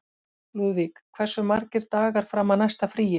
Lúðvíg, hversu margir dagar fram að næsta fríi?